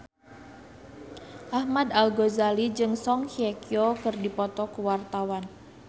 Ahmad Al-Ghazali jeung Song Hye Kyo keur dipoto ku wartawan